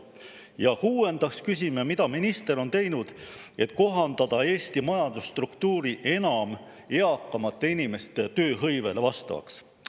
Ja kuuendaks küsime, mida minister on teinud, et kohandada Eesti majandusstruktuuri enam eakamate inimeste tööhõivele vastavaks.